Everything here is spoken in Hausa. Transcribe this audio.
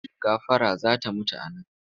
Gafara za ta mutu a nan!